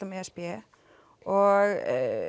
með e s b og